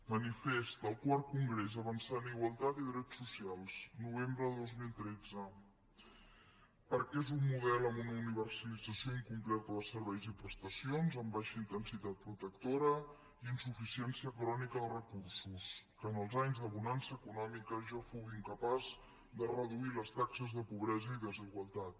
manifest del iv congrés avançar en igualtat i drets socials novembre de dos mil tretze perquè és un model amb una universalització incompleta de serveis i prestacions amb baixa intensitat protectora i insuficiència crònica de recursos que en els anys de bonança econòmica ja fou incapaç de reduir les taxes de pobresa i desigualtat